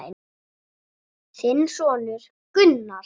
Þinn sonur, Gunnar.